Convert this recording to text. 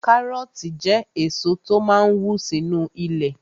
Kárọ̀ọ̀tì jẹ́ èso tó máa n wù sínu ilẹ̀